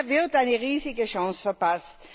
Hier wird eine riesige Chance verpasst.